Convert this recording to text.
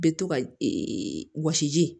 Bɛ to ka wɔsiji ji